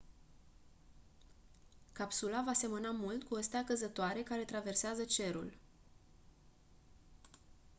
capsula va semăna mult cu o stea căzătoare care traversează cerul